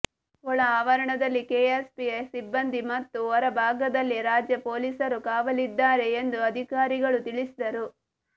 ಒಳ ಆವರಣದಲ್ಲಿ ಕೆಎಸ್ಆರ್ಪಿ ಸಿಬ್ಬಂದಿ ಮತ್ತು ಹೊರ ಭಾಗದಲ್ಲಿ ರಾಜ್ಯ ಪೊಲೀಸರು ಕಾವಲಿದ್ದಾರೆ ಎಂದು ಅಧಿಕಾರಿಗಳು ತಿಳಿಸಿದರು